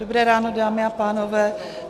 Dobré ráno, dámy a pánové.